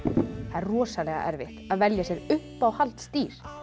það er rosalega erfitt að velja sér uppáhaldsdýr